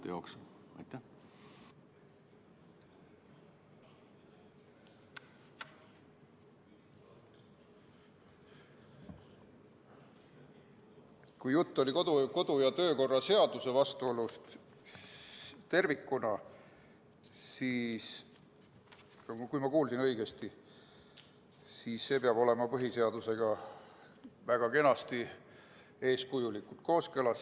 Kui oli kodu- ja töökorra seaduse vastuolust tervikuna – kui ma kuulsin õigesti –, siis see peab olema põhiseadusega väga kenasti, eeskujulikult kooskõlas.